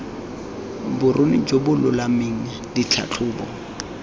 boruni jo bo lolameng ditlhatlhobo